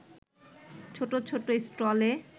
ছোট ছোট স্টলে